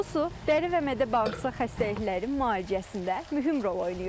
Bu su dəri və mədə-bağırsaq xəstəlikləri müalicəsində mühüm rol oynayır.